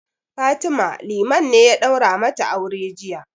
Fatima, Liman ne ya ɗaura mata aure jiya.